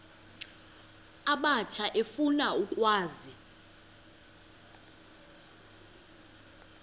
abatsha efuna ukwazi